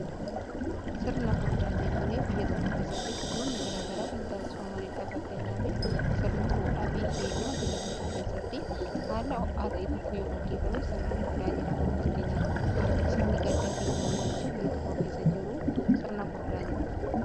Sirna furdaa jechuun biyya tokko keessatti sirnonni garagaraa kan taasifamaniidhaaf. Fakkeenyaaf sirni fuudhaa fi heerumaa biyya tokko keessatti haala ho'aa ta'e tokkoon yoo gaggeefame sirna furdaa jedhama. Fakkeenyaaf sirni gaddaa fi gammachuu biyya tokko keessa jiruu sirna furdaa jedha.